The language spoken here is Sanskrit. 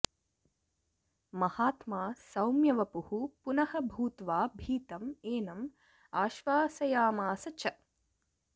महात्मा सौम्यवपुः पुनः भूत्वा भीतम् एनम् आश्वासयामास च